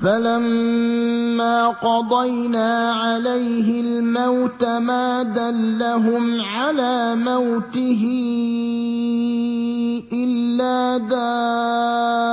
فَلَمَّا قَضَيْنَا عَلَيْهِ الْمَوْتَ مَا دَلَّهُمْ عَلَىٰ مَوْتِهِ إِلَّا دَابَّةُ